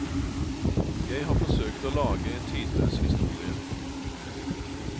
Jeg har forsøkt å lage en tidløs historie.